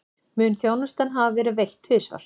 Mun þjónustan hafa verið veitt tvisvar